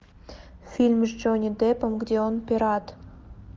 фильм с джонни деппом где он пират